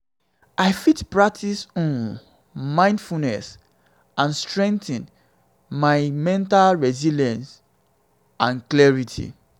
i fit practice um mindfulness um to strengthen my mental resilience um and clarity.